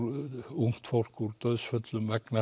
ungt fólk úr dauðsföllum vegna